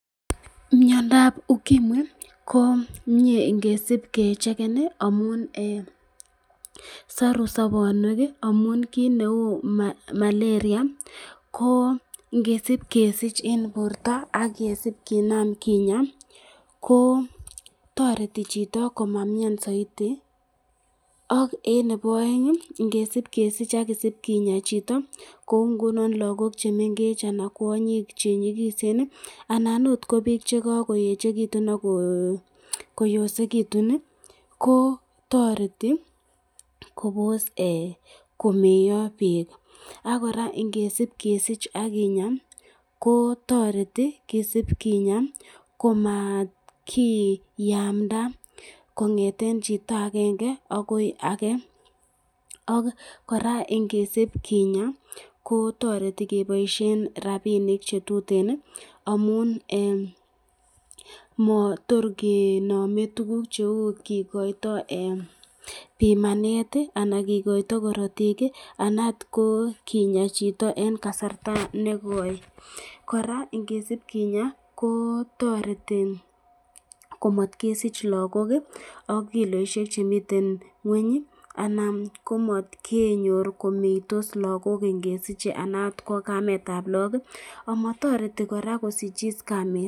Mnyandab ukimwi ko mye ingesib kecheken ,amun saru sabonwek amun kit neu malaria ko ingesib kesich eng borta ak kesib kinam kinya ko toreti chito komamnyan saiti ,ak eng nebo aeng ingesib kesich ak kisib kinya chito kou ngunon lakok chemengech anan kwonyik chenyikisen ,anan akot ko bik chekakoechekitun ako yosekitun, ko toreti Kobos komeyo bik, ak koraa ingesib kesich akinya ko toreti kisib kinya komatkinamda kongeten chito akenge akoi age ak koraa ingesib kinya ko toreti keboisyen rapinik chetuten amun mator kinami tukuk cheu kikoito pimanet anan kikoito karatik anan akot ko kinya chito eng kasarta nekoi k,koraa ingesib kinya ko toreti komatkesich lagok ak kiloisyek chemiten ngweny anan komatkenyor komeitos lagok ingesiche anan akot ko kametab lagok.